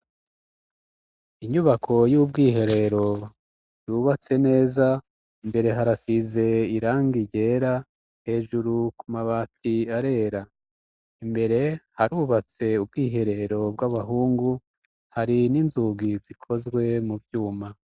Inyubako y'ubwiherero yubatse neza. Imbere harasize irangi ryera. Hejuru ku mabati harera. Imbere harubatse ubwiherero bw'abahungu, hari n'inzugi zikozwe mu vyuma.